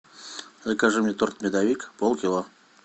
закажи мне торт медовик полкило